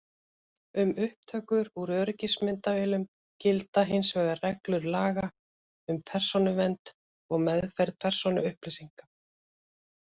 Um upptökur úr öryggismyndavélum gilda hins vegar reglur laga um persónuvernd og meðferð persónuupplýsinga.